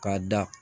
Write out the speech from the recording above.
K'a da